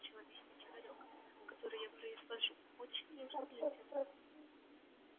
продукт начал объяснять хорёк который я произвожу очень нужен людям